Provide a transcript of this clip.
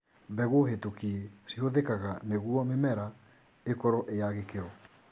Mbegũ hĩtũkie cihũthikaga nĩgwo mĩmera ĩkorwo ĩyagĩkĩro.